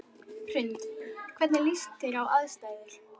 Hrund: Hvernig líst þér á aðstæður?